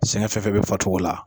Sɛngɛ fɛn fɛn be faricogo la.